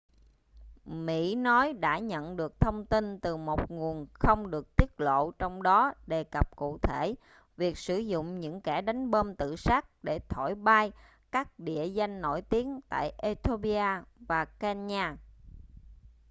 mỹ nói đã nhận được thông tin từ một nguồn không được tiết lộ trong đó đề cập cụ thể việc sử dụng những kẻ đánh bom tự sát để thổi bay các địa danh nổi tiếng tại ethiopia và kenya